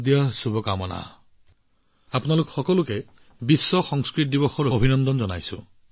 বিশ্ব সংস্কৃত দিৱসত আপোনালোক সকলোকে বহুত বহুত অভিনন্দন জ্ঞাপন কৰিলোঁ